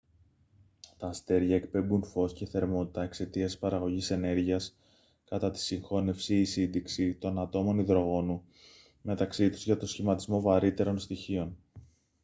τα αστέρια εκπέμπουν φως και θερμότητα εξαιτίας της παραγωγής ενέργειας κατά τη συγχώνευση ή σύντηξη των ατόμων υδρογόνου μεταξύ τους για τον σχηματισμό βαρύτερων στοιχείων